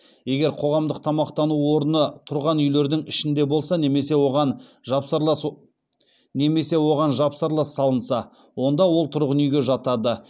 егер қоғамдық тамақтану орны тұрған үйлердің ішінде болса немесе оған жапсарлас салынса онда ол тұрғын үйге жатады